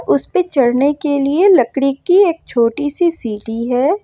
उस पे चढ़ने के लिए लकड़ी की एक छोटी सी सीढ़ी है।